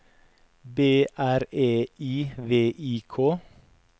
B R E I V I K